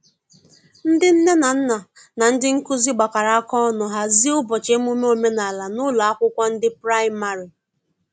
ndi nne na nna na ndi nkụzi gbakọrọ aka ọnụ hazie ubochi emume omenala n'ụlọ akwụkwo ndi praịmarị